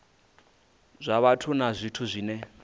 zwa vhathu na zwithu zwine